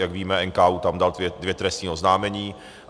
Jak víme, NKÚ tam dal dvě trestní oznámení.